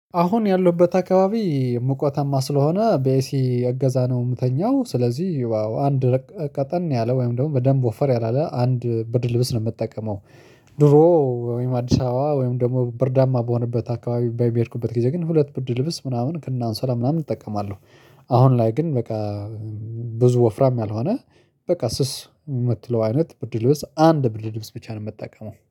አሁን ያለሁበት አከባቢ ሙቀታማ ስለሆነ በኤሲ እገዛ ነው የምተኛው ስለዚህ አንድ ቀጠን ያለ ወይም ደግሞ በደንብ ወፈር ያላለ አንድ ብርድልብስ ነው የምጠቀመው። ድሮ ወይም አዲስ አበባ ወይም ደግሞ ብርዳማ በሆነበት አከባቢ በሄድኩበት ጊዜ ግን ሁለት ብርድልብስ ምናምን ከነአንሶላ ምናምን እጠቀማለው። አሁን ላይ ግን በቃ ብዙ ወፍራም ያልሆነ በቃ ስስ የምትለው አይነት ብርድልብስ አንድ ብርድልብስ ብቻ ነው የምጠቀመው።